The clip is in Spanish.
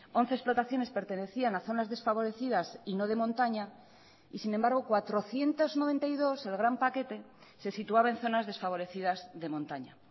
once explotaciones pertenecían a zonas desfavorecidas y no de montaña y sin embargo cuatrocientos noventa y dos el gran paquete se situaba en zonas desfavorecidas de montaña